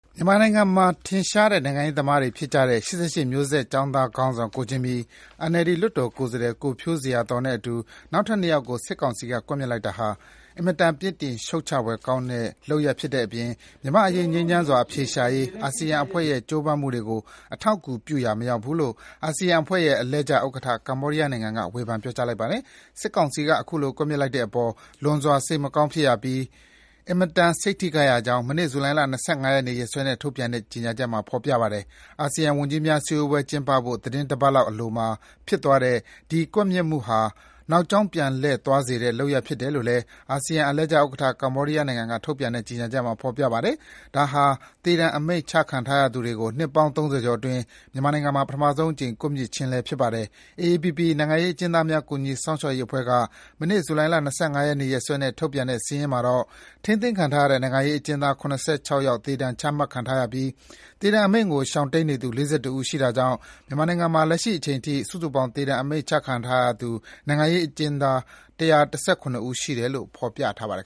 မြန်မာနိုင်ငံမှာ ထင်ရှားတဲ့ နိုင်ငံရေးသမားတွေဖြစ်ကြတဲ့ ၈၈ မျိုးဆက်ကျောင်းသားခေါင်းဆောင် ကိုဂျင်မီ၊ NLD လွှတ်တော်ကိုယ်စားလှယ် ကိုဖြိုးဇေယျာသော် တို့နဲ့အတူ နောက်ထပ် ၂ ယောက်ကို စစ်ကောင်စီက ကွပ်မျက်လိုက်တာဟာ အင်မတန် ပြစ်တင်ရှုတ်ချဖွယ်ကောင်းတဲ့ လုပ်ရပ်ဖြစ်တဲ့အပြင် မြန်မာ့အရေး ငြိမ်းချမ်းစွာ အဖြေရှာနိုင်ရေး အာဆီယံအဖွဲ့ရဲ့ ကြိုးပမ်းမှုတွေကို ပံ့ပိုးပေးရာ မရောက် ဘူးလို့ အာဆီယံအဖွဲ့ရဲ့ အလှည့်ကျဥက္ကဋ္ဌ ကမ္ဘောဒီးယားနိုင်ငံက ဝေဖန် ပြောကြားလိုက်ပါတယ်။ စစ်ကောင်စီက အခုလို ကွပ်မျက်လိုက်တဲ့အပေါ် လွန်စွာ စိတ်မကောင်းဖြစ်ရပြီး အင်မတန် စိတ်ထိခိုက်ရကြောင်း မနေ့ ဇူလိုင်လ ၂၅ ရက်နေ့ ရက်စွဲနဲ့ ထုတ်ပြန်တဲ့ ကြေညာချက်မှာ ဖော်ပြထားပါတယ်။ အာဆီယံ ဝန်ကြီးများစည်းဝေးပွဲ ကျင်းပဖို့ သီတင်းတပတ်လောက်အလိုမှာ ဖြစ်သွားတဲ့ ဒီ ကွပ်မျက်မှုဟာ နောက်ကြောင်းပြန်လှည့်သွားစေတဲ့ လုပ်ရပ်ဖြစ်တယ်လို့လည်း အာဆီယံ အလှည့်ကျဥက္ကဋ္ဌ ကမ္ဘောဒီးယားနိုင်ငံက ထုတ်ပြန်တဲ့ ကြေညာချက်မှာ ဖော်ပြထားပါတယ်။ ဒါဟာ သေဒဏ် အမိန့်ချခံထားရသူတွေကို နှစ်ပေါင်း ၃၀ ကျော်အတွင်း မြန်မာနိုင်ငံမှာ ပထမဆုံးအကြိမ် ကွပ်မျက်ခြင်းလည်း ဖြစ်ပါတယ်။ AAPP နိုင်ငံရေးအကျဉ်းသားများ ကူညီစောင့်ရှောက်ရေးအဖွဲ့က မနေ့ ဇူလိုင်လ ၂၅ ရက်နေ့ ရက်စွဲနဲ့ ထုတ်ပြန်တဲ့စာရင်းမှာတော့ ထိန်းသိမ်းခံထားရတဲ့ နိုင်ငံရေးအကျဉ်းသား ၇၆ ယောက် သေဒဏ်ချမှတ်ထားရပြီး သေဒဏ်အမိန့်ကို ရှောင်တိမ်း နေသူ ၄၁ ဦးရှိတာကြောင့် မြန်မာနိုင်ငံမှာ လက်ရှိအချိန်အထိ စုစုပေါင်း သေဒဏ် အမိန့် ချမှတ်ခံထားရသူ နိုင်ငံရေးအကျဉ်းသား ၁၁၇ ဦး ရှိတယ်လို့ ဖော်ပြထားပါတယ်